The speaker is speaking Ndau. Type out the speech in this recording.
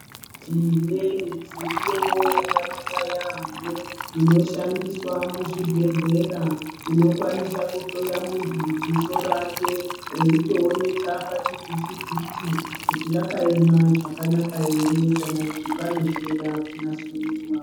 Tine midziyo yakanaka yaambo inoshandiswa muzvi bhehlera inokwanisa kuhloya muntu dziso rake reitooneka pachivhiti vhiti kuti rakaema zvakanaka ere kana kuti pane zvinoda kunasurudzwa.